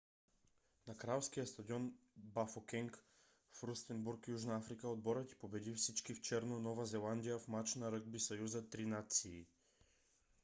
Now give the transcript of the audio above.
на кралския стадион бафокенг в рустенбург южна африка отборът й победи всички в черно нова зеландия в мач на ръгби съюза три нации